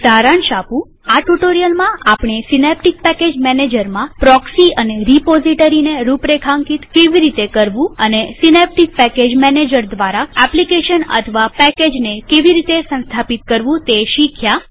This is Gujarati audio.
હું સારાંશ આપું160 આ ટ્યુ્ટોરીઅલમાં આપણે સીનેપ્ટીક પેકેજ મેનેજરમાં પ્રોક્સી અને રીપોઝીટરીને રૂપરેખાંકિત કેવી રીતે કરવું અને સીનેપ્ટીક પેકેજ મેનેજર દ્વારા એપ્લીકેશન અથવા પેકેજને કેવી રીતે સંસ્થાપિત કરવું તે શીખ્યા